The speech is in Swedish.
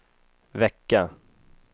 vecka